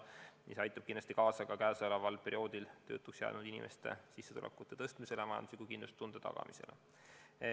See aitaks kindlasti kaasa ka viimasel ajal töötuks jäänud inimeste sissetulekute tõstmisele, majandusliku kindlustunde tagamisele.